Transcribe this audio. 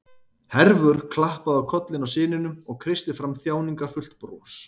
Hervör klappaði á kollinn á syninum og kreisti fram þjáningarfullt bros.